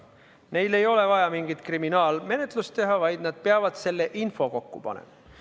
Neil ei ole vaja mingit kriminaalmenetlust teha, vaid nad peavad selle info kokku panema.